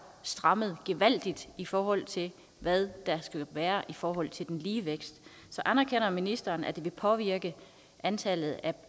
strammet gevaldigt i forhold til hvad der skal være i forhold til den lige vækst så anerkender ministeren at det vil påvirke antallet af